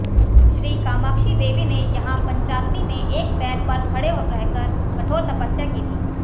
श्री कामाक्षीदेवीने यहां पंचाग्निमें एक पैरपर खडे रहकर कठोर तपस्या की थी